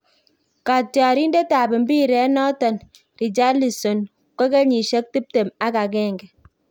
Katrayindet ab mpiret noton, Richarlison ko kenyisiek tiptem ak agenge.